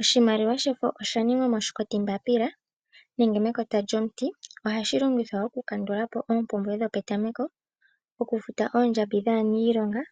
Oshimaliwa oshaningwa moshikotimbaapila nenge mekota lyomuti . Ohashi longithwa okukandulapo oompumbwe dhopetameko , okufuta oondjambi dhaaniilonga